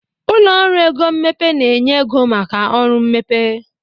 Ụlọ ọrụ ego mmepe na-enye ego maka ọrụ mmepe